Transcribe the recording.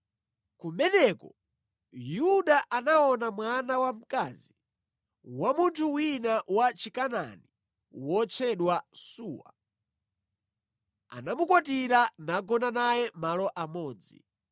Kumeneko, Yuda anaona mwana wamkazi wa munthu wina wa Chikanaani wotchedwa Suwa. Anamukwatira nagona naye malo amodzi.